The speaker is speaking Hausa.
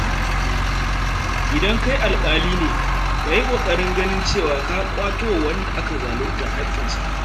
Idan kai alƙali ne, ka yi ƙoƙarin ganin cewa ka ƙwato wa wanda aka zalunta haƙƙinsa.